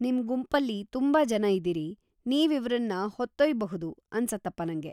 ನಿಮ್ ಗುಂಪಲ್ಲಿ ತುಂಬಾ ಜನ ಇದೀರಿ, ನೀವ್‌ ಇವ್ರನ್ನ ಹೊತ್ತೊಯ್ಯ್‌ಬಹುದು ಅನ್ಸತ್ತಪ ನಂಗೆ.